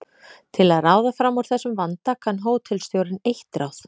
Til að ráða fram úr þessum vanda kann hótelstjórinn eitt ráð.